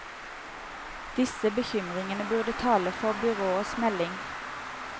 Disse bekymringene burde tale for byrådets melding.